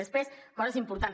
després coses importants